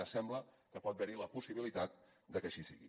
ara sembla que pot haver hi la possibilitat de que així sigui